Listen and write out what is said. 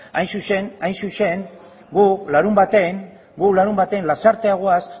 hain zuzen gu larunbatean lasartera goaz